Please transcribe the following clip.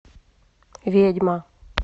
ведьма